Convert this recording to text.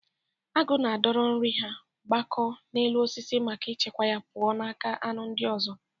Agụ na-adọro nri ha gbagoo na elu osisi maka ichebe ya pụọ ​​n'aka anu ndi ozo.